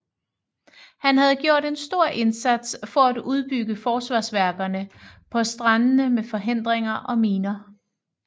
Han havde gjort en stor indsats for at udbygge forsvarsværkerne på strandende med forhindringer og miner